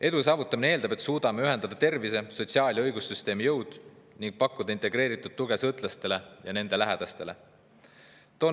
Edu saavutamine eeldab, et suudame ühendada tervise-, sotsiaal- ja õigussüsteemi jõud ning pakume integreeritud tuge sõltlastele ja nende lähedastele.